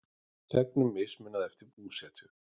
Þegnum mismunað eftir búsetu